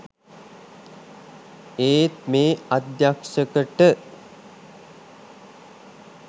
ඒත් මේ අධ්‍යක්ෂකට